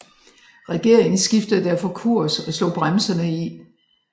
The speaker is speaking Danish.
Regeringen skiftede derfor kurs og slog bremserne i